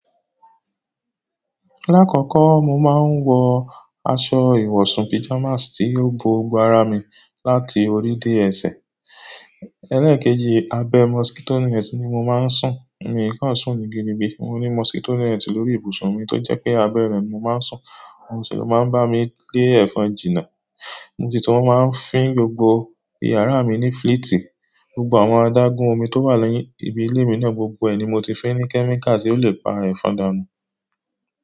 Lákọ̀ọ̀kọ́ mo máa ń wọ aṣọ ìwọ̀sùn pajamas tí yóò bo gbogbo ara mi láti orí dé ẹsẹ̀. Ẹlẹ́ẹ̀kejì, abẹ́ mọ́sùkì tó ní net ni mo máa ń sùn. Mi kò sùn nígi níbi, mo ní mọ́sùkì tó ní net lórí ibùsùn mi tó jẹ́ pé abẹ́rẹ́ ni mo máa ń sùn, ohun sì ló máa ń bá mi lé ẹ̀fọn jìnnà. Mo sì tun máa ń fín gbogbo yàrá mi ní fleeti, gbogbo àwọn adágún omi tó wà ni ìbi ilé mi náà gbogbo ẹ̀ ni mo ti fín ní kẹ́míkà tí yóò le pa ẹ̀fọn dànù.